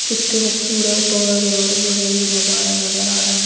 कित्ते खूबसूरत और जो है ये नजारा नजर आ रहा--